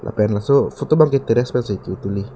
lapen laso photo ke teries pen si katuli.